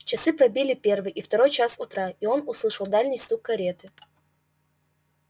часы пробили первый и второй час утра и он услышал дальний стук кареты